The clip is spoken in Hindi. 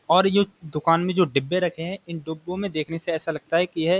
और यह दुकान में जो डिब्बे रखे हैं इन डिब्बों में देखने से ऐसा लगता है कि यह --